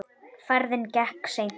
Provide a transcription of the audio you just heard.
Ferðin gekk seint.